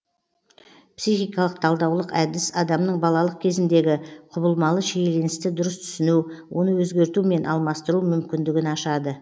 психикалық талдаулық әдіс адамның балалық кезіндегі құбылмалы шиеленісті дұрыс түсіну оны өзгерту мен алмастыру мүмкіндігін ашады